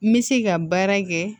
N bɛ se ka baara kɛ